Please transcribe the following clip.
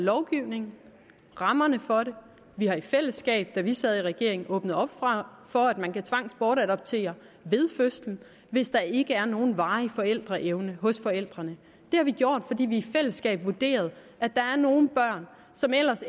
lovgivningen rammerne for det vi har i fællesskab da vi sad i regering åbnet op for at man kan tvangsbortadoptere ved fødslen hvis der ikke er nogen varig forældreevne hos forældrene det har vi gjort fordi vi i fællesskab vurderede at der er nogle børn som ellers